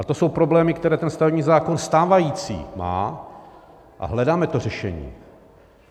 A to jsou problémy, které ten stavební zákon stávající má, a hledáme to řešení.